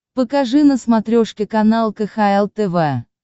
покажи на смотрешке канал кхл тв